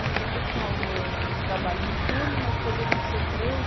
E você falou, trabalha em um turno, mas poderiam ser três?